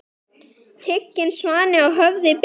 Tigin svanni á höfði ber.